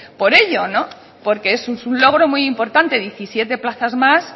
por ello porque eso es un logro muy importante diecisiete plazas más